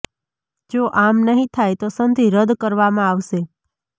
જો આમ નહીં થાય તો સંધિ રદ્દ કરવામાં આવશે